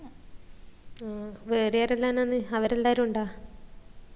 ഉം വേറെ ആരെല്ലാനാണ് അവെരെല്ലാരും ഇണ്ട?